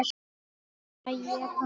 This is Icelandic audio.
Fæ ég pakka?